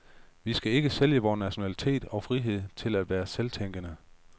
Vi skal ikke sælge vor nationalitet og frihed til at være selvtænkende.